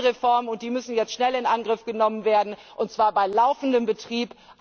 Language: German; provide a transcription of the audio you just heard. Wir brauchen Reformen, und die müssen jetzt schnell in Angriff genommen werden, und zwar bei laufendem Betrieb.